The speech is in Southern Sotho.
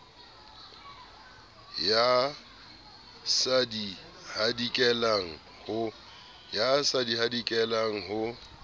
ya sa di hadikelang ho